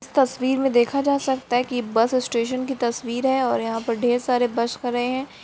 तस्वीर में देखा जा सकता है कि यह बस स्टेशन की तस्वीर है और यहां पर ढेर सारे बस खड़े है।